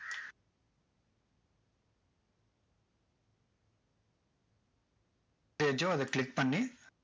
page அதை click பண்ணி